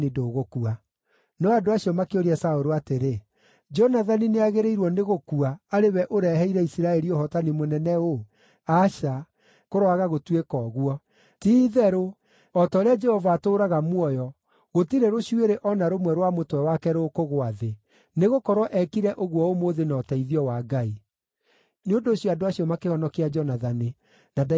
No andũ acio makĩũria Saũlũ atĩrĩ, “Jonathani nĩagĩrĩirwo nĩ gũkua, arĩ we ũreheire Isiraeli ũhootani mũnene ũũ? Aca, kũroaga gũtuĩka ũguo! Ti-itherũ, o ta ũrĩa Jehova atũũraga muoyo, gũtirĩ rũcuĩrĩ o na rũmwe rwa mũtwe wake rũkũgũa thĩ, nĩgũkorwo eekire ũguo ũmũthĩ na ũteithio wa Ngai.” Nĩ ũndũ ũcio andũ acio makĩhonokia Jonathani, na ndaigana kũũragwo.